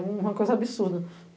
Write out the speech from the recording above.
É uma coisa absurda.